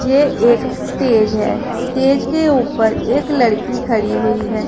ये एक स्टेज है स्टेज के ऊपर एक लड़की खड़ी हुई है।